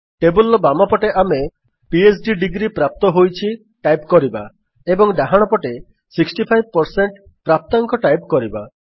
table ର ବାମ ପଟେ ଆମେ ଫ୍ଡ୍ ଡିଗ୍ରୀ ପ୍ରାପ୍ତ ହୋଇଛି ଟାଇପ୍ କରିବା ଏବଂ ଡାହାଣପଟେ 65 ପ୍ରାପ୍ତାଙ୍କ ଟାଇପ୍ କରିବା